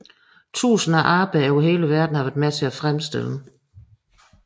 Tusinder af arbejdere over hele verden har været med til at fremstille den